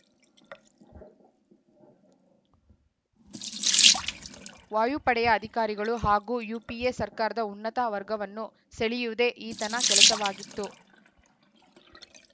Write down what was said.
ವಾಯುಪಡೆಯ ಅಧಿಕಾರಿಗಳು ಹಾಗೂ ಯುಪಿಎ ಸರ್ಕಾರದ ಉನ್ನತ ವರ್ಗವನ್ನು ಸೆಳೆಯುವುದೇ ಈತನ ಕೆಲಸವಾಗಿತ್ತು